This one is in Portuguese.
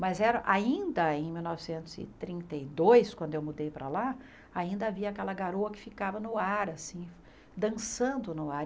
Mas era ainda em mil novecentos e trinta e dois, quando eu mudei para lá, ainda havia aquela garoa que ficava no ar, assim, dançando no ar.